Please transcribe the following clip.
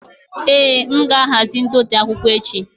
Èé, m ga-ahazi ndote akwụkwọ echi.